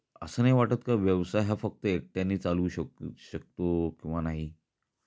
असं नाही वाटतं का व्यवसाय हा फक्त एकट्यानी चालू शकतो शकतो किंवा नाही